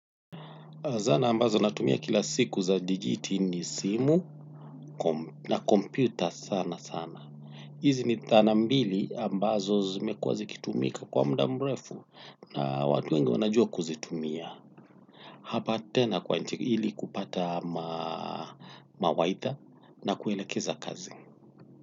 Zana ambazo natumia kila siku za dijiti ni simu na kompyuta sana sana. Hizi ni zana mbili ambazo zimekuwa zikitumika kwa muda mrefu na watu wengi wanajua kuzitumia. Hapa tena kwa ili kupata maelekezo na kuelekeza kazi.